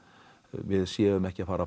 við séum ekki að fara